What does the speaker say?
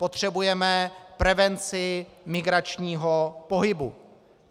Potřebujeme prevenci migračního pohybu.